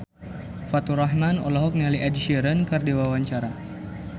Faturrahman olohok ningali Ed Sheeran keur diwawancara